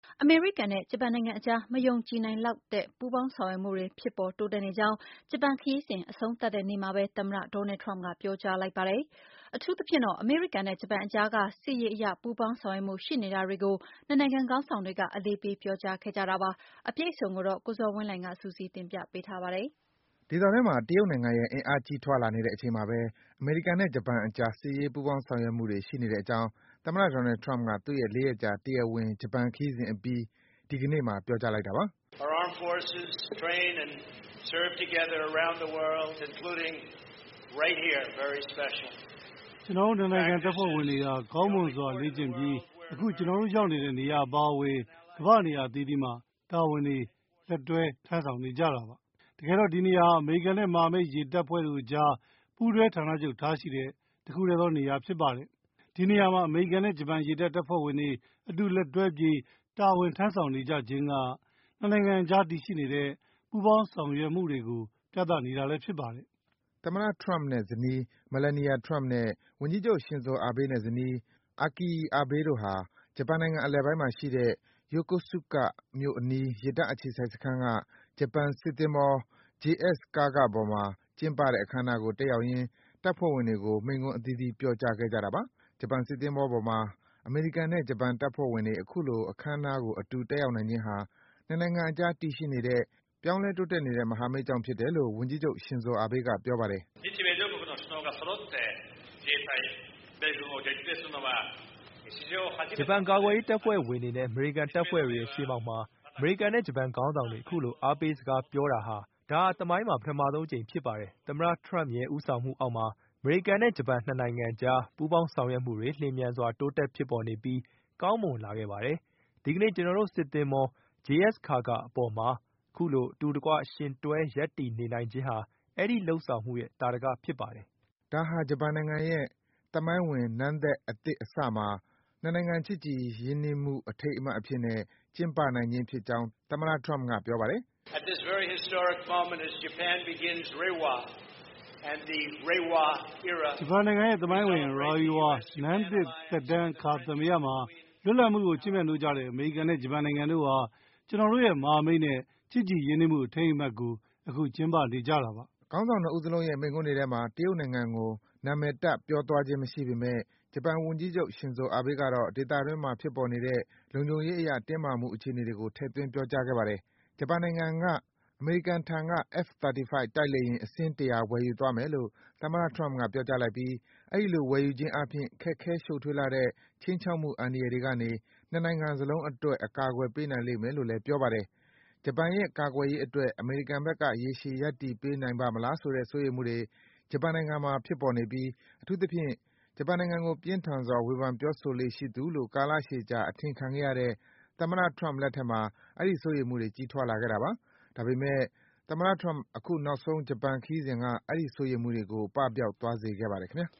အမေရိကန်နဲ့ ဂျပန်အကြား မယုံကြည်နိုင်လောက်တဲ့ ပူးပေါင်းဆောင်ရွက်မှုတွေ ဖြစ်ပေါ် တိုးတက်နေကြောင်း ဂျပန် ခရီးစဉ်အဆုံးသတ်တဲ့ နေ့မှာဘဲ သမ္မတ Donald Trump က ပြောကြားလိုက်ပါတယ်။ အထူးသဖြင့်တော့ အမေရိကန်နဲ့ ဂျပန်အကြားက စစ်ရေးအရ ပူးပေါင်းဆောင်ရွက်မှု ရှိနေတာတွေကို ၂ နိုင်ငံ ခေါင်းဆောင်တွေက အလေးပေး ပြောကြားခဲ့ကြတာပါ။ အပြည့်အစုံကိုတော့ ကိုဇော်ဝင်းလှိုင်က စုစည်း တင်ပြပေးပါတယ်။ ဒေသတွင်းမှာ တရုတ်နိုင်ငံရဲ့ အင်အား ကြီးထွားလာနေတဲ့အချိန်မှာပဲ အမေရိကန်နဲ့ ဂျပန်အကြား စစ်ရေးအရ ပူးပေါင်း ဆောင်ရွက်မှုတွေ ရှိနေတဲ့အကြောင်း သမ္မတ Donald Trump က သူ့ရဲ့ ၄ ရက်ကြာ တရားဝင် ဂျပန်ခရီးစဉ်အပြီး ဒီကနေ့ ပြောကြားလိုက်တာပါ။ “ကျနော်တို့ ၂ နိုင်ငံ တပ်ဖွဲ့ဝင်တွေဟာ ကောင်းမွန်စွာ လေ့ကျင့်ပြီး အခု ကျနော်တို့ ရောက်နေတဲ့ နေရာအပါဝင် ကမ္ဘာ့ နေရာအသီးသီးမှာ လက်တွဲ တာဝန် ထမ်းဆောင်နေကြတာပါ။ တကယ်တော့ ဒီနေရာဟာ အမေရိကန်နဲ့ မဟာမိတ် ရေတပ်ဖွဲ့တို့အကြား ပူးတွဲဌာနချုပ်ထားရှိတဲ့ တခုတည်းသောနေရာ ဖြစ်ပါတယ်။ ဒီနေရာမှာ အမေရိကန်နဲ့ ဂျပန်ရေတပ် တပ်ဖွဲ့ဝင်တွေ အတူလက်တွဲပြီး တာဝန် ထမ်းဆောင်နေကြခြင်းဟာ ၂ နိုင်ငံအကြား တည်ရှိနေတဲ့ ပူပေါင်းဆောင်ရွက်မှုကို ပြသနေတာလည်း ဖြစ်ပါတယ်။” သမ္မတ Trump နဲ့ ဇနီး Melania Trump နဲ့ ဝန်ကြီးချုပ် Shinzo Abe နဲ့ ဇနီး Akie Abe တို့ဟာ ဂျပန်နိုင်ငံအလယ်ပိုင်းမှာရှိတဲ့ Yokosuka မြို့အနီး ရေတပ်အခြေစိုက်စခန်းက ဂျပန်စစ်သင်္ဘော JS Kaga ပေါ်မှာ ကျင်းပတဲ့ အခမ်းအနားကို တက်ရောက်ရင်း တပ်ဖွဲ့ဝင်တွေကို မိန့်ခွန်း အသီးသီး ပြောကြားခဲ့ကြတာပါ။ ဂျပန်စစ်သင်္ဘောပေါ်မှာ အမေရိကန်နဲ့ ဂျပန်တပ်ဖွဲ့ဝင်တွေ အခုလို အခမ်းအနားကို အတူတက်ရောက်နိုင်ခြင်းဟာ ၂ နိုင်ငံအကြား တည်ရှိနေတဲ့ ပြောင်းလဲ တိုးတက်နေတဲ့ မဟာမိတ်ကြောင့် ဖြစ်တယ်လို့ ဝန်ကြီးချုပ် Shinzo Abe က ပြောပါတယ်။ “ဂျပန်ကာကွယ်ရေးတပ်ဖွဲ့ဝင်တွေနဲ့ အမေရိကန်တပ်ဖွဲ့တွေရဲ့ ရှေ့မှောက်မှာ အမေရိကန်နဲ့ ဂျပန်ခေါင်းဆောင်တွေ အခုလို အားပေးစကားပြောတာ ဒါဟာ သမိုင်းမှာ ပထမဆုံးအကြိမ် ဖြစ်ပါတယ်။ သမ္မတ Trump ရဲ့ ဦးဆောင်မှုအောက်မှာ အမေရိကန်နဲ့ ဂျပန် ၂ နိုင်ငံအကြား ပူးပေါင်းဆောင်ရွက်မှုတွေ လျင်မြန်စွာ တိုးတက်ဖြစ်ပေါ်ပြီး ကောင်းမွန်လာခဲ့ပါတယ်။ ဒီကနေ့ ကျနော်တို့ စစ်သင်္ဘော JS Kaga ပေါ်မှာ အခုလို အတူတကွ ယှဉ်တွဲ ရပ်တည်နေနိုင်ခြင်းဟာ အဲဒီ လုပ်ဆောင်မှုရဲ့ သာဓက ဖြစ်ပါတယ်။” ဒါဟာ ဂျပန်နိုင်ငံရဲ့ သမိုင်းဝင် နန်းသက်သစ်အစမှာ ၂ နိုင်ငံ ချစ်ကြည် ရင်းနှီးမှု အထိန်းအမှတ်အဖြစ်နဲ့ ကျင်းပနိုင်ခြင်းဖြစ်ကြောင်း သမ္မတ Trump က ပြောပါတယ်။ “ဂျပန်နိုင်ငံရဲ့ သမိုင်းဝင် Reiwa နန်းသက်သစ်အခါသမယမှာ လွတ်လပ်မှုကို ချစ်မြတ်နိုးကြတဲ့ အမေရိကန်နဲ့ ဂျပန်နိုင်ငံတို့ဟာ ကျနော်တို့ရဲ့ မဟာမိတ်နဲ့ ချစ်ကြည်ရင်းနှီးမှု အထိမ်းအမှတ်ကို အခု ကျင်းပနေကြတာပါ။” ခေါင်းဆောင် ၂ ဦးစလုံးရဲ့ မိန့်ခွန်းတွေထဲမှာ တရုတ်နိုင်ငံကို နံမည်တပ် ပြောသွားခြင်း မရှိပေမယ့် ဂျပန်ဝန်ကြီးချုပ် Shinzo Abe ကတော့ ဒေသတွင်းမှာ ဖြစ်ပေါ်လာနေတဲ့ လုံခြုံရေးအရ တင်းမာမှု အခြေအနေတွေကို ထည့်သွင်း ပြောကြားခဲ့ပါတယ်။ ဂျပန်နိုင်ငံက အမေရိကန်ထံက F-35 တိုက်လေယာဉ် အစင်း ၁၀၀ ဝယ်ယူသွားမယ်လို့ သမ္မတ Trump ပြောကြားလိုက်ပြီး အဲဒီလို ဝယ်ယူခြင်းအားဖြင့် ခက်ခဲ ရှုပ်ထွေးလှတဲ့ ခြိမ်းချောက်မှု အန္တရာယ်တွေကနေ ၂ နိုင်ငံစလုံးအတွက် ကာကွယ်ပေးနိုင်လိမ့်မယ်လို့လဲ ပြောပါတယ်။ ဂျပန်ရဲ့ ကာကွယ်ရေးအတွက် အမေရိကန်ဘက်က ရေရှည်ရပ်တည်ပေးနိုင်ပါ့မလားဆိုတဲ့ စိုးရိမ်မှုတွေ ဂျပန်နိုင်ငံမှာ ဖြစ်ပေါ်နေပြီး အထူးသဖြင့် ဂျပန်နိုင်ငံကို ပြင်းထန်စွာ ဝေဖန်ပြောဆိုလေ့ရှိသူလို့ ကာလရှည်ကြာ အထင်ခံခဲ့ရတဲ့ သမ္မတ Trump လက်ထက်မှာ အဲဒီ စိုးရိမ်မှုတွေ ကြီးထွားလာခဲ့တာပါ။ ဒါပေမယ့် သမ္မတ Trump အခု နောက်ဆုံး ဂျပန်ခရီးစဉ်က အဲဒီ စိုးရိမ်မှုတွေကို ပပျောက်သွားစေခဲ့ပါတယ် ခင်ဗျာ